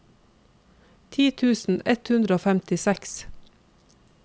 ti tusen ett hundre og femtiseks